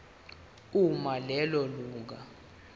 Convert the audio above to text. uma lelo lunga